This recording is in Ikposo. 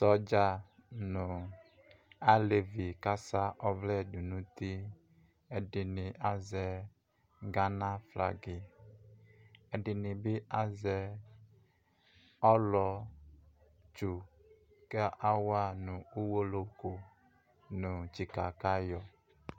Sɔdza ɲʊ alevi kasa ɔvlɛdʊ ɲuti Ɛdinɲi azɛ Gaɲa ƒlaga, ɛdiɲibɩ azɛ ɔlɔtsu kawa ɲu Uwolowu kʊ ɲu tsika kayɔ